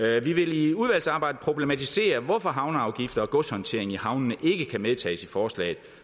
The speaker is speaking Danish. vi vil i udvalgsarbejdet problematisere hvorfor havneafgifter og godshåndtering i havnene ikke kan medtages i forslaget